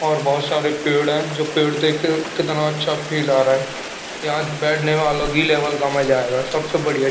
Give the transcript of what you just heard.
और बोहोत सारे पेड़ है जो पेड़ देख कितना अच्छा फील आरा है यहा बेटने वालो की लेवल कम अजागा सबसे बड़िया--